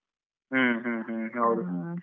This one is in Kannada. ಹ್ಮ ಹ್ಮ ಹೌದು.